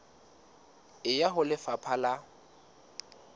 e ya ho lefapha la